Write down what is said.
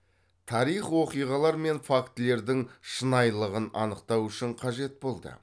тарих оқиғалар мен фактілердің шынайылығын анықтау үшін қажет болды